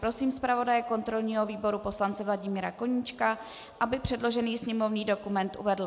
Prosím zpravodaje kontrolního výboru poslance Vladimíra Koníčka, aby předložený sněmovní dokument uvedl.